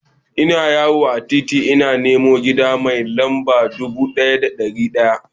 Ina yawo a titi ina neman gida mai lamba dubu ɗaya da ɗari ɗaya.